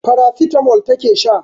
Paracetamol take sha